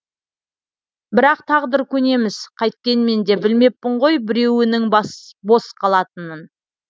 бірақ тағдыр көнеміз қайткенменде білмеппін ғой біреуінің бос қалатынын